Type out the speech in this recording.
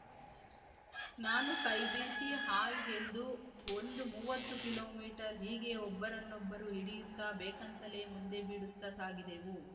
ನಾನು ಕೈಬೀಸಿ ಹಾಯ್ ಎಂದು ಒಂದು ಮೂವತ್ತು ಕಿಲೋಮೀಟರ್‌ ಹೀಗೆ ಒಬ್ಬರನೊಬ್ಬರು ಹಿಡಿಯುತ್ತಾ ಬೇಕಂತಲೇ ಮುಂದೆ ಬಿಡುತ್ತಾ ಸಾಗಿದೆವು